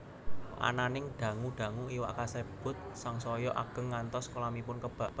Ananing dangu dangu iwak kasebut sangsaya ageng ngantos kolamipun kebak